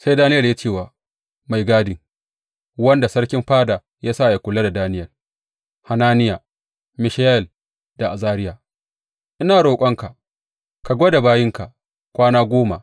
Sai Daniyel ya ce wa mai gadi wanda sarkin fada ya sa yă kula da Daniyel, Hananiya, Mishayel da Azariya, Ina roƙonka ka gwada bayinka kwana goma.